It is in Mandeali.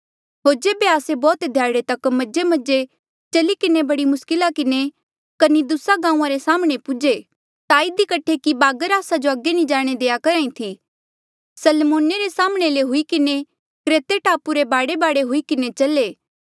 होर जेबे आस्से बौह्त ध्याड़े तक मजेमजे चली किन्हें बड़ी मुस्किला किन्हें कनिदुसा गांऊँआं रे साम्हणें पौहुंचे ता इधी कठे कि बागर आस्सा जो अगे नी जाणे देआ करहा ई थी सलमोने रे साम्हणें ले हुई किन्हें क्रेते टापू रे बाढेबाढे हुई किन्हें चले